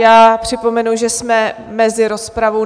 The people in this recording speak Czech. Já připomenu, že jsme mezi rozpravou.